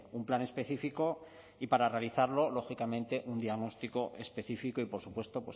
un plan específico y para realizarlo lógicamente un diagnóstico específico y por supuesto